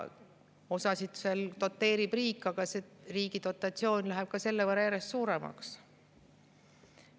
Osa doteerib riik, aga riigi dotatsioon läheb selle võrra järjest suuremaks.